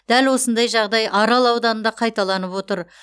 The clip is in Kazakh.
дәл осындай жағдай арал ауданында қайталанып отыр